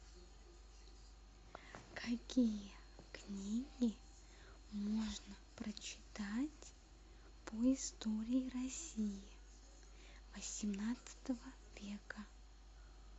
какие книги можно прочитать по истории россии восемнадцатого века